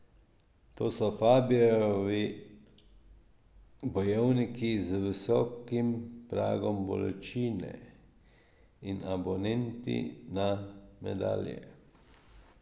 To so Fabijevi bojevniki z visokim pragom bolečine in abonenti na medalje.